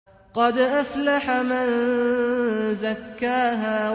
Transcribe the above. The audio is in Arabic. قَدْ أَفْلَحَ مَن زَكَّاهَا